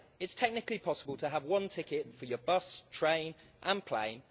It's technically possible to have one ticket for your bus, train and plane.